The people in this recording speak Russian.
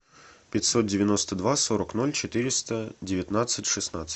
пятьсот девяносто два сорок ноль четыреста девятнадцать шестнадцать